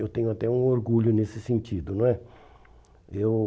Eu tenho até um orgulho nesse sentido, não é? Eu